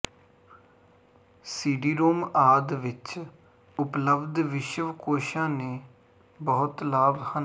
CD-ROM ਆਦਿ ਵਿੱਚ ਉਪਲਬਧ ਵਿਸ਼ਵਕੋਸ਼ਾਂ ਦੇ ਬਹੁਤ ਲਾਭ ਹਨ